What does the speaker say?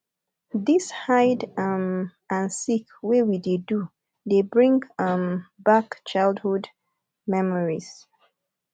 dis hide um and seek wey we dey do dey bring um back childhood memories